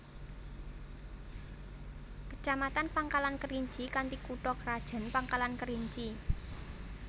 Kecamatan Pangkalan Kerinci kanthi kutha krajan Pangkalan Kerinci